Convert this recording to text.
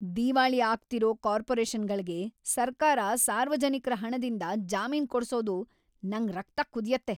ದಿವಾಳಿ ಆಗ್ತಿರೋ ಕಾರ್ಪೊರೇಷನ್‌ಗಳ್ಗೆ ಸರ್ಕಾರ ಸಾರ್ವಜನಿಕ್ರ ಹಣದಿಂದ ಜಾಮೀನ್ ಕೊಡ್ಸೋದು‌ ನಂಗ್‌ ರಕ್ತ ಕುದ್ಯತ್ತೆ.